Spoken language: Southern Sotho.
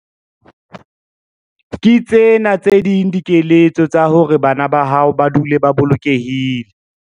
Ke tsena tse ding dikeletso tsa hore bana ba hao ba dule ba bolokehile.